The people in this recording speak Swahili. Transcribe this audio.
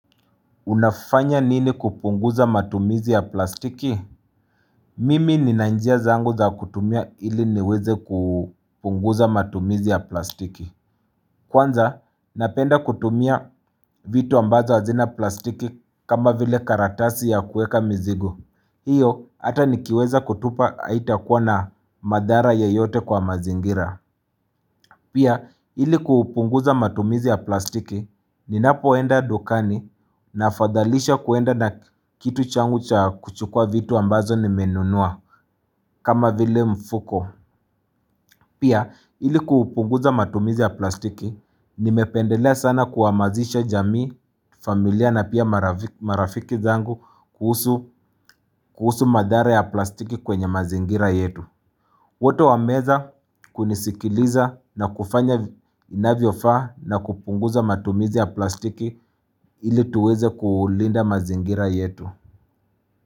Unafanya nini kupunguza matumizi ya plastiki? Mimi nina njia zangu za kutumia ili niweze kupunguza matumizi ya plastiki Kwanza napenda kutumia vitu ambazo hazina plastiki kama vile karatasi ya kueka mzigo hiyo hata nikiweza kutupa haitakuwa na madhara ya yote kwa mazingira Pia ili kuhupunguza matumizi ya plastiki ninapoenda dukani nafadhalisha kuenda na kitu changu cha kuchukua vitu ambazo ni menunua kama vile mfuko. Pia ili kuhupunguza matumizi ya plastiki nimependela sana kuhamasisha jamii, familia na pia marafiki zangu kuhusu madhara ya plastiki kwenye mazingira yetu. Wote wameweza kunisikiliza na kufanya inavyo faa na kupunguza matumizi ya plastiki ili tuweze kulinda mazingira yetu.